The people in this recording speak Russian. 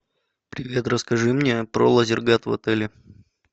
привет расскажи мне про лазертаг в отеле